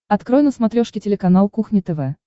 открой на смотрешке телеканал кухня тв